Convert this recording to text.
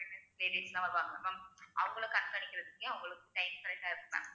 ladies லாம் வருவாங்க ma'am அவங்களுக்கு கண்காணிக்கிறதுக்கே அவங்களுக்கு time correct ஆ இருக்கும் ma'am